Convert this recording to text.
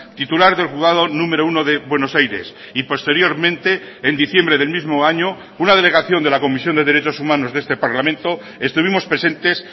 titular del juzgado número uno de buenos aires y posteriormente en diciembre del mismo año una delegación de la comisión de derechos humanos de este parlamento estuvimos presentes